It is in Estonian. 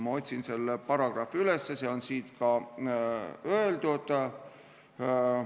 Ma otsin selle paragrahvi üles, see on siin öeldud.